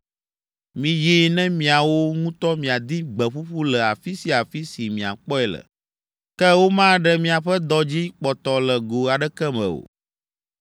Miyi ne miawo ŋutɔ miadi gbe ƒuƒu le afi sia afi si miakpɔe le, ke womaɖe miaƒe dɔ dzi kpɔtɔ le go aɖeke me o.’ ”